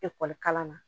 Ekɔli kalan na